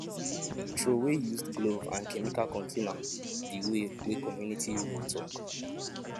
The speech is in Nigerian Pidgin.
throwaway used glove and chemical container the way wey community rule talk